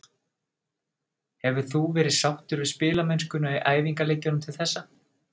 Hefur þú verið sáttur við spilamennskuna í æfingaleikjum til þessa?